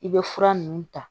I bɛ fura ninnu ta